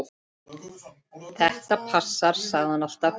Þetta passar, sagði hann alltaf.